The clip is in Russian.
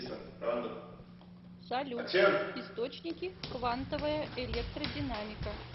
салют источники квантовая электродинамика